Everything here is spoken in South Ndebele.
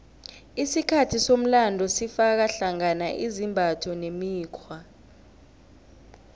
isikhathi somlando sifaka hlangana izimbatho nemikghwa